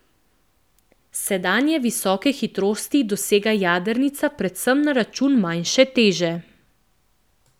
Sedanje visoke hitrosti dosega jadrnica predvsem na račun manjše teže.